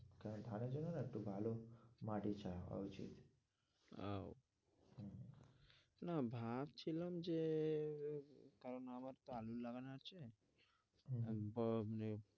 তাই ধানের জন্যে না একটু ভালো মাটি চাই আহ না ভাবছিলাম যে কারণ আমার তো আলু লাগানো আছে